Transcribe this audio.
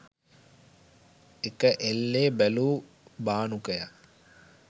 එක එල්ලේ බැලූ බානුකයා